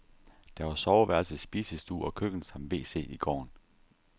Der var soveværelse, spisestue og køkken samt wc i gården.